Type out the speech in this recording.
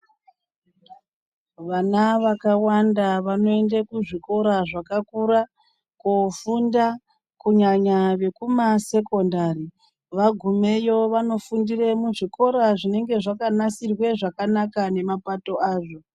Vana vakawanda vanoende kuzvikora zvakakura kofunda kunyanya vekumasekondari vagumeyo vanofundire muzvikora zvinenge zvakanasirwe zvakanaka nemapato azvo.